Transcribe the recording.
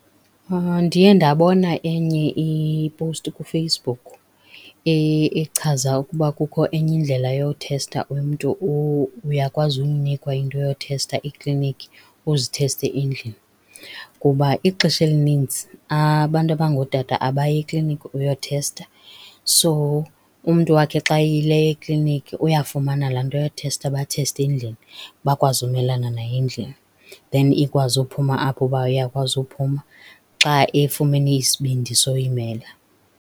Ndiye ndabona enye iposti kuFacebook echaza ukuba kukho enye indlela yothesta umntu. Uyakwazi unikwa into yothesta ekliniki uzitheste endlini ngoba ixesha elinintsi abantu abangootata abayi ekliniki uyothesta. So umntu wakhe xa eyileyo ekliniki uyafumana laa nto yothesta batheste endlini bakwazi umelana nayo endlini then ikwazi uphuma apho ukuba iyakwazi uphuma xa efumene isibindi soyimela.